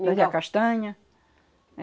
castanha?